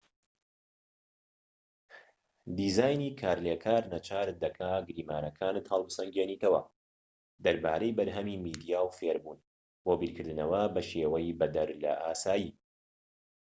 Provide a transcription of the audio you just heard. دیزاینی کارلێکار ناچارت دەکات گریمانەکانت هەڵبسەنگێنیتەوە دەربارەی بەرهەمی میدیا و فێربوون بۆ بیرکردنەوە بە شێوەی بەدەر لە ئاسایی